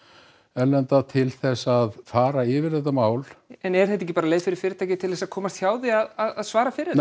erlenda til þess að fara yfir þetta mál en er þetta ekki bara leið fyrir fyrirtækið til þess að komast hjá því að að að svara fyrir